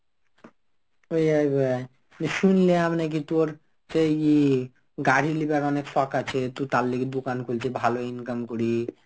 শুনলাম নাকি তোর সেই ইয়ে গাড়ি লিবার অনেক শখ আছে. তো তার লগে দোকান খুলছিস ভালো income করি,